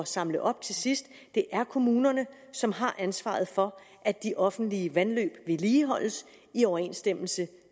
samle op til sidst det er kommunerne som har ansvaret for at de offentlige vandløb vedligeholdes i overensstemmelse